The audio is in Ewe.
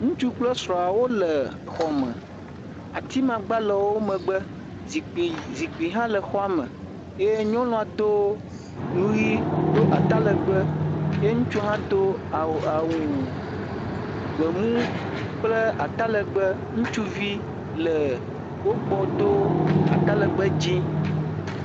ŋutsu kple srɔa wóle xɔ me atimagba le wó megbe zikpi hã le xɔme ye nyɔnuɔ dó nuyi dó atalegbe ye ŋutsua haã dó awu gbemu kple ata legbe ŋutsuvi le wógbɔ dó atalegbe dzĩ